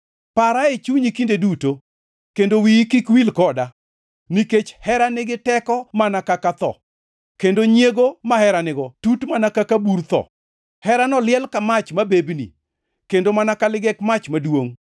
Para e chunyi kinde duto, kendo wiyi kik wil koda; nikech hera nigi teko mana ka tho, kendo nyiego ma hera nigo tut mana ka bur tho. Herano liel ka mach mabebni, kendo mana ka ligek mach maduongʼ.